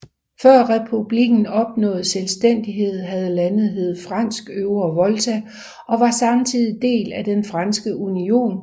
Før republikken opnåede selvstændighed havde landet heddet Fransk Øvre Volta og var samtidig del af Den Franske Union